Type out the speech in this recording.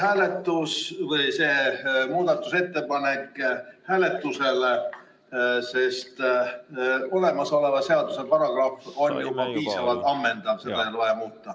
Palun panna see muudatusettepanek hääletusele, sest olemasoleva seaduse paragrahv on juba piisavalt ammendav, seda pole vaja muuta.